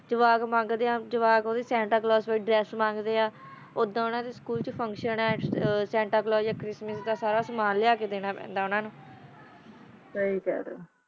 ਜਵਾਕ ਮੰਗਾ ਦਾ ਆ ਜਵਾਕ ਦਾ ਕੈਪਰਾ ਓਨਾ ਦਾ ਡ੍ਰੇਸ ਓਦਾ ਦਾ ਸਕੂਲ ਚ ਫੁਨ੍ਕ੍ਤਿਓਂ ਆ ਯਾ ਚਾਰਿਸ੍ਮਿਸ ਦਾ ਲਾਰ ਲੋ ਯਾ ਸਮਾਂ ਲਾਯਾ ਕਾ ਦਾਨਾ ਪੈਂਦਾ ਆ ਓਨਾ ਨੂ ਸਹੀ ਖਾ ਰਹਾ ਜਾ